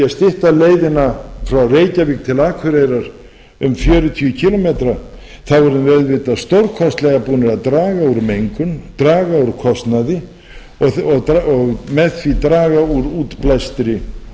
stytta leiðina frá reykjavík til akureyrar um fjörutíu kílómetra erum við auðvitað stórkostlega búin að draga úr mengun draga úr kostnaði og með því draga úr